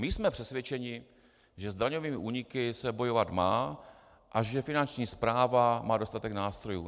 My jsme přesvědčeni, že s daňovými úniky se bojovat má a že Finanční správa má dostatek nástrojů.